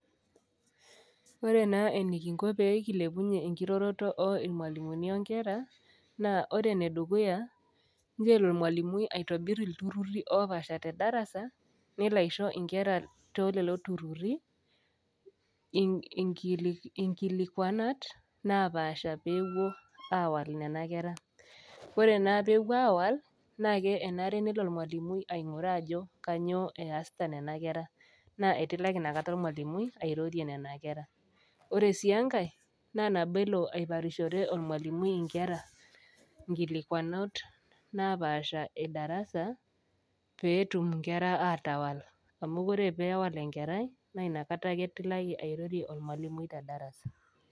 Ore naa enikinko pee kilepunyie enkiroroto oirmwalimuni onkera naa ore enedukuya , ncho elo ormwalimui aitobir iltururi opasha tedarasa, nelo aisho inkera tolelo inkili, inkilikwanat napasha pepuo awal nenakera . Ore naapepuo awal naa kenare nelo ormwalimui ainguraa ajo kainyioo easita nena kera , naa etilaki inakata ormwalimui airorie nena kera . Ore siienkae naa naboelo aiparishore ormwalimui inkera inkilikwanot napasha edarasa petum inkera atawal amu ore pewal enkerai naa inakata ake etilaki ormwalimui tedarasa .